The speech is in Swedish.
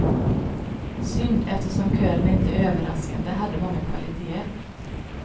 Synd eftersom kören inte överraskande hade många kvaliteter.